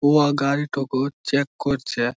ও গাড়ি টুকু চেক করছে।